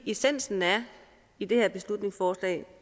essensen i det her beslutningsforslag